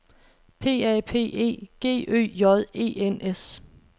P A P E G Ø J E N S